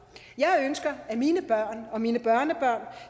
jeg ønsker at mine børn og mine børnebørn